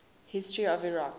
history of iraq